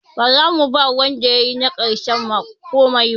Ba za mu ba wanda yayi na ƙarshe komai ba.